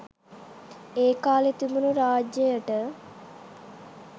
ඒ කාලේ තිබුණු රාජ්‍යයට